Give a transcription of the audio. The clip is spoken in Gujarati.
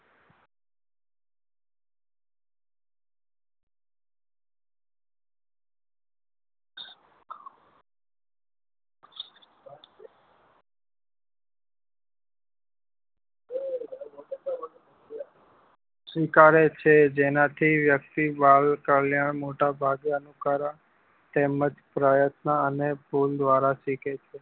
સ્વીકારે છે જેનાથી વ્યક્તિ બાલ કલ્યાણ મોટા ભાગે અનુકરણ તેમજ પ્રયત્ન અને ભૂલ દ્વારા સીખે છે